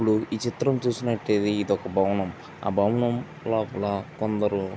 ఇపుడు ఈ చిత్రమ్ చూస్తూయుటే ఇది ఒక భవనం ఆ భవనం లోపల కొందరు --